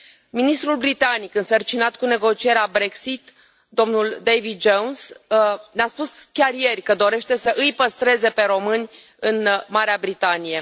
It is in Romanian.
Ministrul britanic însărcinat cu negocierea Brexit, domnul David Jones, ne a spus chiar ieri că dorește să îi păstreze pe români în Marea Britanie.